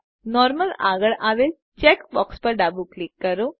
normal આગળ આવેલ check box પર ડાબું ક્લિક કરો